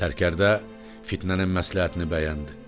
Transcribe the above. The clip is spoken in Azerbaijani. Sərkərdə fitnənin məsləhətini bəyəndi.